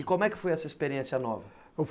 E como é que foi essa experiência nova?